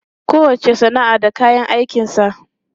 Kowacce sana'a da kayan aikinsa.